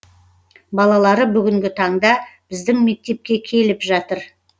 балалары бүгінгі таңда біздің мектепке келіп жатыр